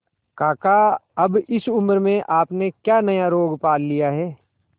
काका अब इस उम्र में आपने क्या नया रोग पाल लिया है